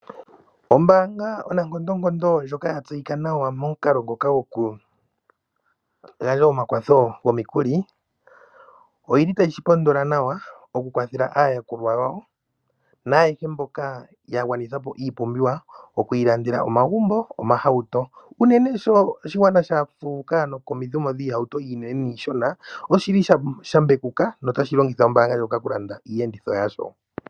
Ombaanga onankondonkondo ndjoka ya tseyika nawa momukalo ngoka gokugandja omakwatho gomikuli otayi shi pondola nawa okukwathela aayakulwa yawo naayehe mboka ya gwanitha po iipumbiwa oku ilandela omagumbo niihauto. Unene sho oshigwana sha fuuka komuumo goohauto oonene noonshona oshi li sha mbekuka notashi longitha ombaanga ndjoka okulanda iiyenditho yasho.